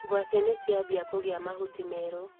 Ngwaci nĩciambia kũgĩa mahuti merũ.